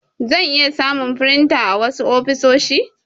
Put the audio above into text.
za'a iya samun firinta a wasu ofisoshi.